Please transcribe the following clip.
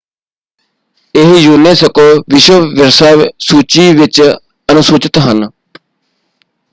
ਇਹ ਯੂਨੈਸਕੋ ਵਿਸ਼ਵ ਵਿਰਸਾ ਸੂਚੀ ਵਿੱਚ ਅਨੁਸੂਚਿਤ ਹਨ।